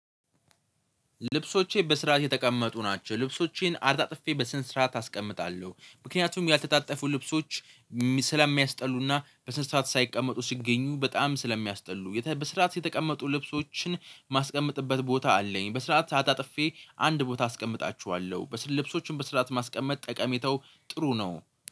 ልብሶቼ በስርዓት የተቀመጡ ናቸው። ልብሶቼን አጣጥፌ በስን ስርዓት አስቀምጣለሁ ምክንያቱም ያልተጣጠፉ ልብሶች ስለሚያስጠሉና በስንት ስርዓት ሳይቀመጡ ሲገኙ በጣም ስለሚያስጠሉ በስርዓት የተቀመጡ ልብሶችን ማስቀመጥበት ቦታ አለኝ። በስርዓት አጣጥፌ አንድ ቦታ አስቀምጣችኋለሁ በስርዓት ልብሶችን በስርዓት ማስቀመጥ ጠቀሜተው ጥሩ ነው